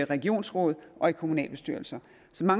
regionsråd og kommunalbestyrelser så mange